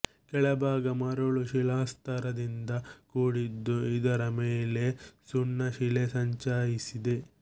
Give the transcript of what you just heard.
ಕೆಳಭಾಗ ಮರಳು ಶಿಲಾಸ್ತರದಿಂದ ಕೂಡಿದ್ದು ಇದರ ಮೇಲೆ ಸುಣ್ಣ ಶಿಲೆ ಸಂಚಯಿಸಿದೆ